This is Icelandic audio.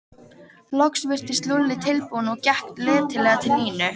Loks virtist Lúlli tilbúinn og gekk letilega til Nínu.